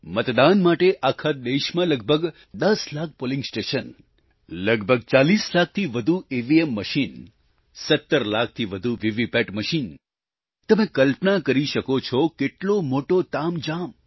મતદાન માટે આખા દેશમાં લગભગ 10 લાખ પોલિંગ સ્ટેશન લગભગ 40 લાખથી વધુ ઈવીએમ મશીન 17 લાખથી વધુ વીવીપેટ મશીન તમે કલ્પના કરી શકો છો કેટલો મોટો તામઝામ